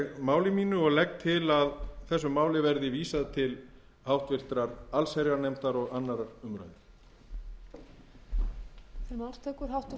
máli mínu og legg til að þessu máli verði vísað til háttvirtrar allsherjarnefndar og annarrar umræðu